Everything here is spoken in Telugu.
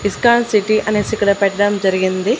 ఇస్కాన్ సిటీ అనేసి ఇక్కడ పెట్టడం జరిగింది.